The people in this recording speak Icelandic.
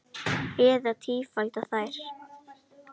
Eða tífalda þær.